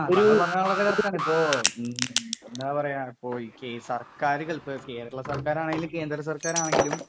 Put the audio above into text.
താങ്കൾ പറഞ്ഞത് വളരെ കറെക്റ്റ് തന്നെയാണ്. ഇപ്പോ എന്താ പറയാ ഈ സർകാറുകൾ കേരള സർകാർ ആണെങ്കിലും കേന്ദ്ര സർകാർ ആണെങ്കിലും